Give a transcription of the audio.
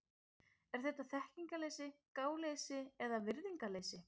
Er þetta þekkingarleysi, gáleysi eða virðingarleysi?